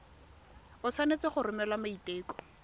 o tshwanetse go romela maiteko